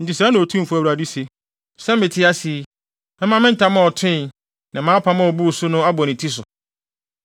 “ ‘Enti sɛɛ na Otumfo Awurade se: Sɛ mete ase yi, mɛma me ntam a ɔtoe, ne mʼapam a obuu so no abɔ ne ti so.